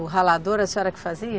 O ralador, a senhora que fazia?